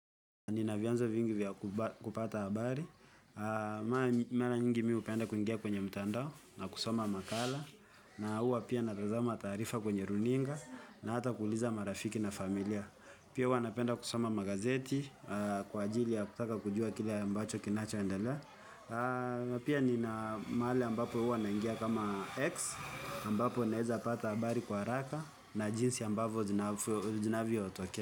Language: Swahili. Nina vyanzo vingi vya kupata habari, mara nyingi mimi hupenda kuingia kwenye mtandao na kusoma makala na huwa pia natazama taarifa kwenye runinga na hata kuuliza marafiki na familia pia huwa napenda kusoma magazeti kwa ajili ya kutaka kujua kile ambacho kinacho endelea pia nina mahali ambapo hua naingia kama X ambapo naweza pata habari kwa haraka na jinsi ambavyo zinavyotokea.